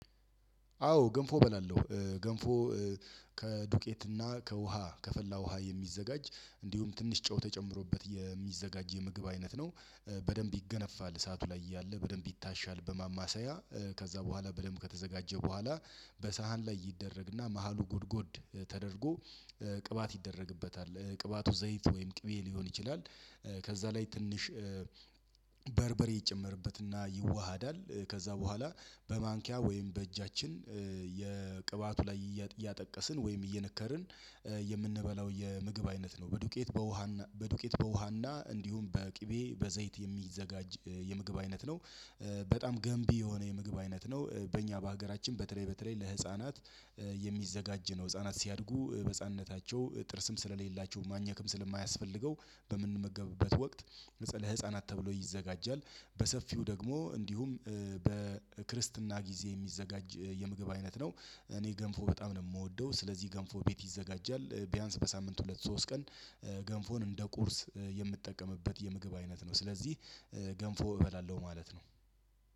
አዎ ገንፎ እበላለሁ ገንፎ ከዱቄትና ከውሃ ከፈላ ውሃ የሚዘጋጅ እንዲሁም ትንሽ ጨው ተጨምሮበት የሚዘጋጅ የምግብ አይነት ነው። በደንብ ይገነፋል እሳቱ ላይ እያለ በደንብ ይታሻል በማማሰያ ከዛ በኋላ በደንብ ከተዘጋጀ በኋላ በሳህን ላይ ይደረግና መሃሉ ጉድጉድ ተደርጎ ቅባት ይደረግበታል ቅባቱ ዘይት ወይም ቅቤ ሊሆን ይችላል። ከዛ ላይ ትንሽ በርበሬ ይጨመርበትና ይዋሃዳል ከዛ በኋላ በማንኪያ ወይም በእጃችን የቅባቱ ላይ እያጠቀስን ወይም እየነከርን የምንበላው የምግብ አይነት ነው። በዱቄት በውሃ በዱቄት በውሃና እንዲሁም በቅቤ በዘይት የሚዘጋጅ የምግብ አይነት ነው። በጣም ገንቢ የሆነ የምግብ አይነት ነው። በእኛ በሀገራችን በተለይ በተለይ ለህፃናት የሚዘጋጅ ነው። ህፃናት ሲያድጉ በህፃንነታቸው ጥርስም ስለሌላቸው ማኘክም ስለማያስፈልገው በምንመገብበት ወቅት ለህፃናት ተብሎ ይዘጋጃል። በሰፊው ደግሞ እንዲሁም በክርስትና ጊዜ የሚዘጋጅ የምግብ አይነት ነው። እኔ ገንፎ በጣም ነው የምወደው ስለዚህ ገንፎ ቤት ይዘጋጃል ቢያንስ በሳምንት ሁለት ሶስት ቀን። ገንፎን እንደ ቁርስ የምትጠቀምበት የምግብ አይነት ነው። ስለዚህ ገንፎ እበላለሁ ማለት ነው።